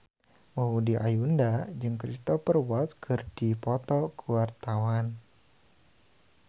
Maudy Ayunda jeung Cristhoper Waltz keur dipoto ku wartawan